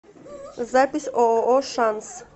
запись ооо шанс